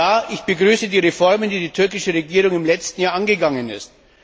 Ja, ich begrüße die Reformen, die die türkische Regierung im letzten Jahr angegangen ist.